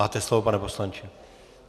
Máte slovo, pane poslanče.